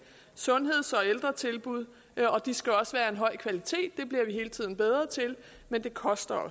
sundheds og ældretilbud og de skal også være af høj kvalitet det bliver vi hele tiden bedre til men det koster